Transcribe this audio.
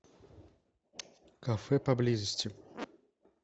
кафе поблизости